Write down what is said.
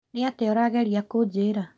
Nĩ atĩa ũrageria kũnjĩra